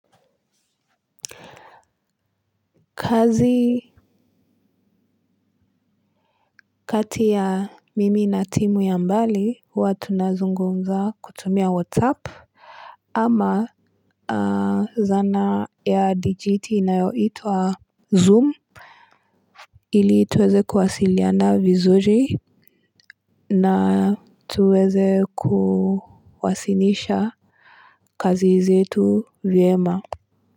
Kazi kati ya mimi na timu ya mbali huwa tunazungumza kutumia whatsapp ama zana ya dijiti inayoitwa zoom ili tuweze kuwasiliana vizuri na tuweze kuwasilisha kazi zetu vyema. Kwa hivyo.